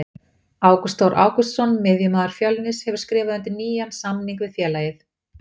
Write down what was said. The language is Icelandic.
Ágúst Þór Ágústsson miðjumaður Fjölnis hefur skrifað undir nýjan samning við félagið.